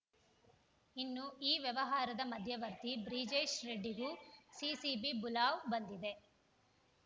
ಇನ್ನು ಈ ವ್ಯವಹಾರದ ಮಧ್ಯವರ್ತಿ ಬ್ರಿಜೇಶ್‌ ರೆಡ್ಡಿಗೂ ಸಿಸಿಬಿ ಬುಲಾವ್‌ ಬಂದಿದೆ